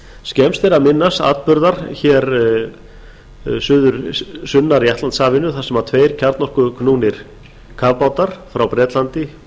skemmst er að minnast atburða sunnar í atlantshafinu þar sem tveir kjarnorkuknúnir kafbátar frá bretlandi og